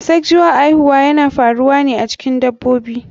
Asexual aihuwa yana faruwa a cikin dabobi.